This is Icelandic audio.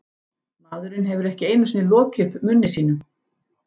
Maðurinn hefur ekki einu sinni lokið upp munni sínum.